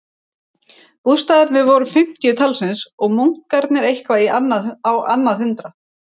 Bústaðirnir voru um fimmtíu talsins og munkarnir eitthvað á annað hundrað.